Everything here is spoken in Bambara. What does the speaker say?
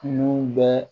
Nun bɛɛ